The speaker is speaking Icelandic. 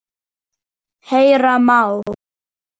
Heyra má